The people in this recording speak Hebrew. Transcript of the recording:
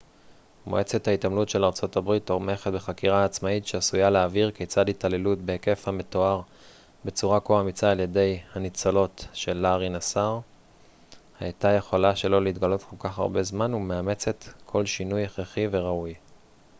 מועצת ההתעמלות של ארה ב תומכת בחקירה עצמאית שעשויה להבהיר כיצד התעללות בהיקף המתואר בצורה כה אמיצה על ידי הניצולות של לארי נסאר הייתה יכולה שלא להתגלות כל כך הרבה זמן ומאמצת כל שינוי הכרחי וראוי